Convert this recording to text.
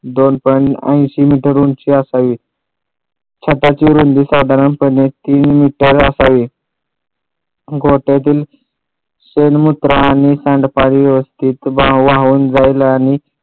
दोन point ऐंशी metre उंची असावी छताची रुंदी साधारणपणे तीन मीटर असावी गोठ्यातील सर्व पाणी सांडल्यावर एक वाहून जायला आणि